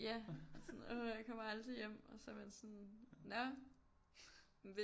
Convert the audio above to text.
Ja sådan åh jeg kommer aldrig hjem og så er man sådan nå